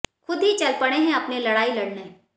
खुद ही चल पड़े हैं अपनी लड़ाई लड़ने